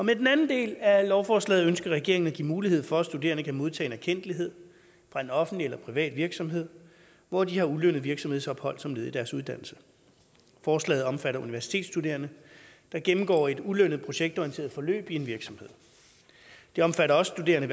den anden del af lovforslaget ønsker regeringen at give mulighed for at studerende kan modtage en erkendtlighed fra en offentlig eller privat virksomhed hvor de har ulønnet virksomhedsophold som led i deres uddannelse forslaget omfatter universitetsstuderende der gennemgår et ulønnet projektorienteret forløb i en virksomhed det omfatter også studerende